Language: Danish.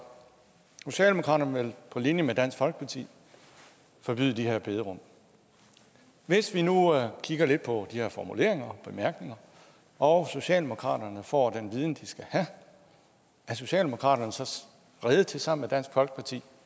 socialdemokratiet vil på linje med dansk folkeparti forbyde de her bederum hvis vi nu kigger lidt på de her formuleringer bemærkninger og socialdemokratiet får den viden de skal have er socialdemokratiet så rede til sammen med dansk folkeparti